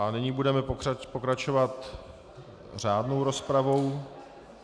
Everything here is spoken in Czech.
A nyní budeme pokračovat řádnou rozpravou.